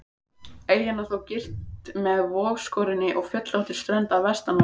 Eyjan er þó girt með vogskorinni og fjöllóttri strönd að vestanverðu.